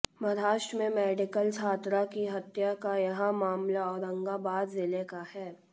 महाराष्ट्र मेें मेडिकल छात्रा की हत्या का यह मामला औरंगाबाद जिले का है